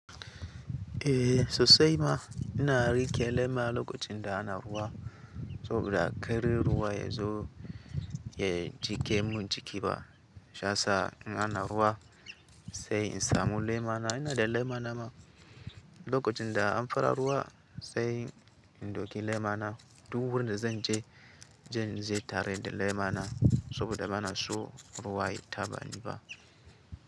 Eh, sosai ma ina rike lema lokacin da ana ruwa, saboda ƙarin ruwa ya zo ya jiƙe mun jiki ba. Sha sa in ana ruwa sai in samu lema na ina da lema na ma. Lokacin da an fara ruwa sai in ɗauki lema na. Duk wurin da zan je, zan je tare da lema na saboda bana so ruwa ya taba ni ba.